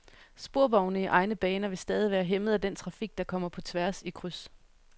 Sporvogne i egne baner vil stadig være hæmmet af den trafik, der kommer på tværs i kryds.